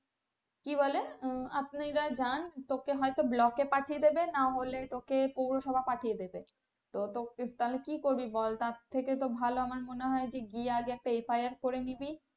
কি বলে আপনারা জান তোকে হয়তো block এ পাঠিয়ে দেবে না হলে তোকে পৌরসভা পাঠিয়ে দেবে। তো তোকে তাহলে কি করবি বল তার থেকে তো ভালো আমার মনে হয় গিয়ে একটা FIR করে নিবি।